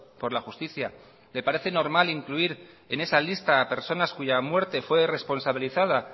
por la justicia le parece normal incluir en esa lista a personas cuya muerte fue responsabilizada